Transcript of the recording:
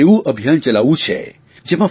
એક એવું અભિયાન ચલાવવું છે